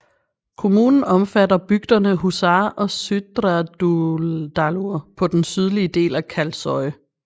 Kommunen omfatter bygderne Húsar og Syðradalur på den sydlige del af Kalsoy